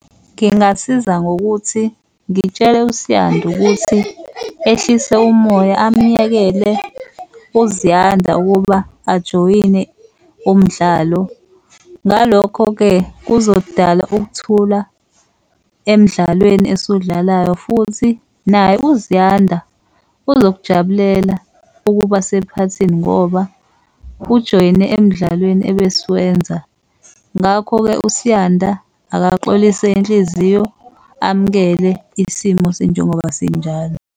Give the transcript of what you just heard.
Ngingasiza ngokuthi ngitshele uSiyanda ukuthi ehlise umoya amyekele uZiyanda ukuba ajoyine umdlalo. Ngalokho-ke, kuzodala ukuthula emdlalweni esuwudlalayo, futhi naye uZiyanda uzokujabulela ukuba sephathini ngoba ujoyine emdlalweni ebesiwenza. Ngakho-ke, uSiyanda akaxolise inhliziyo amukele isimo sinjengoba sinjalo.